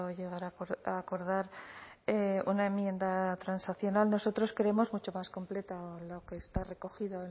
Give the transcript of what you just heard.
llegar a acordar una enmienda transaccional nosotros queremos mucho más completa lo que está recogido